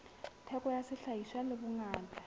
theko ya sehlahiswa le bongata